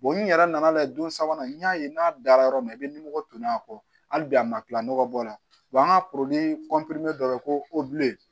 n yɛrɛ nana lajɛ don sabanan n y'a ye n'a dara yɔrɔ min na i bɛ nimoro tonnen a kɔ hali bi a ma kila nɔgɔ bɔ la an ka dɔ bɛ yen ko